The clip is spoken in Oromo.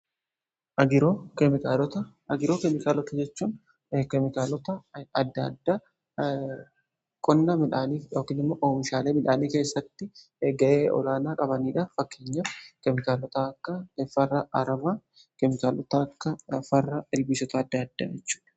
Agiroo keemikaalota jechuun keemikaalota adda adda qonna midhaaniif yookiin oomishaalee midhaanii keessatti ga'ee olaanaa qabaniidha. Fakkeenyaf keemikaalota akka farra aramaa keemikaalota akka farra ilbiisota adda addaa jechuudha.